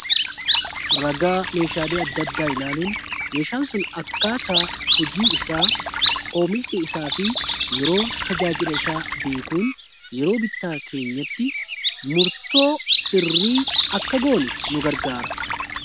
ragaa meeshaalei addaaddaa ilaaluun meeshaan sun akkaata hojii isaa oomishni isaa fi yeroo tajaajila isaa beekuun yeroo bitaa keenyatti murtoo sirrii akka goone nu gargaara